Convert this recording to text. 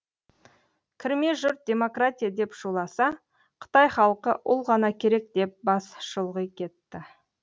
кірме жұрт демократия деп шуласа қытай халқы ұл ғана керек деп бас шұлғи кетті